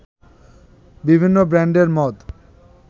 বিভিন্ন ব্র্যান্ডের মদ